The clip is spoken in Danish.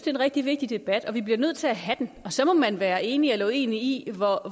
en rigtig vigtig debat vi bliver nødt til at have den og så må man være enig eller uenig i